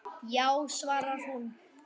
Já, svarar hún.